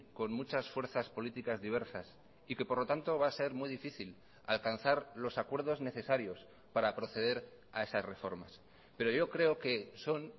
con muchas fuerzas políticas diversas y que por lo tanto va a ser muy difícil alcanzar los acuerdos necesarios para proceder a esas reformas pero yo creo que son